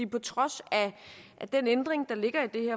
på trods af at den ændring der ligger i